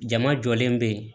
Jama jɔlen bɛ yen